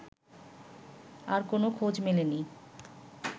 আর কোন খোঁজ মেলেনি